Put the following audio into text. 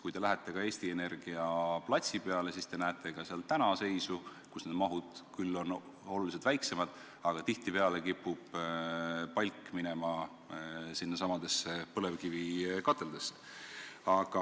Kui te lähete Eesti Energia platsi peale, siis te näete ka seal täna , et tihtipeale kipub palk minema sinnasamasse põlevkivikatlasse.